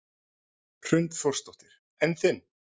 Hrund Þórsdóttir: En þinn?